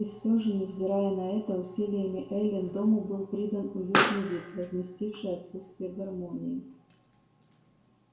и все же невзирая на это усилиями эллин дому был придан уютный вид возместивший отсутствие гармонии